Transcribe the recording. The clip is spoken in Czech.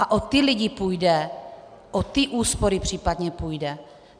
A o ty lidi půjde, o ty úspory případně půjde.